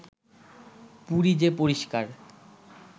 পুরী যে পরিস্কার